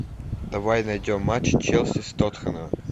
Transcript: давай найдем матч челси с тоттенхэмом